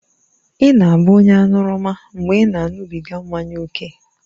Ị na-abụ onye aṅụrụma mgbe ị na-aṅụbiga mmanya ókè